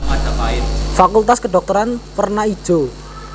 Fakultas Kedhokteran werna ijo